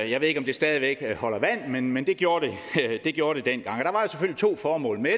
jeg ved ikke om det stadig væk holder vand men men det gjorde det gjorde det dengang der var to formål med